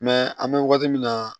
an bɛ wagati min na